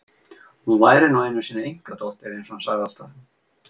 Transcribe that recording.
Hún væri nú einu sinni einkadóttir eins og hann sagði alltaf.